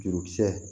Jurukisɛ